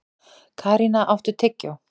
Karína, áttu tyggjó?